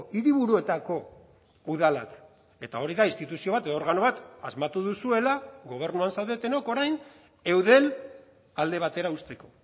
hiriburuetako udalak eta hori da instituzio bat edo organo bat asmatu duzuela gobernuan zaudetenok orain eudel alde batera uzteko